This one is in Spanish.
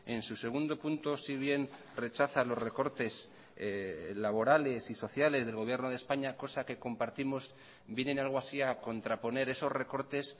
en su segundo punto si bien rechaza los recortes laborales y sociales del gobierno de españa cosa que compartimos vienen algo así a contraponer esos recortes